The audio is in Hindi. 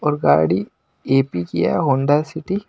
और गाड़ी ए_पी की है होंडा सिटी --